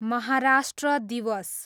महाराष्ट्र दिवस